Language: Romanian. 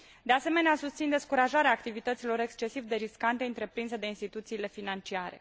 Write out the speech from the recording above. De asemenea, susțin descurajarea activităților excesiv de riscante întreprinse de instituțiile financiare.